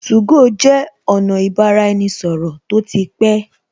2go jẹ́ ọ̀nà ibaraenisoro tó ti pé